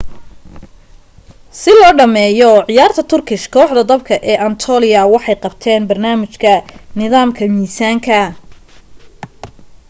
si loo dhameeyoo ciyaarta turkish kooxda dabka ee anatolia waxay qabteen barnaamijka nidaamka misaanka